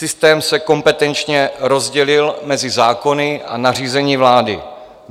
Systém se kompetenčně rozdělil mezi zákony a nařízení vlády.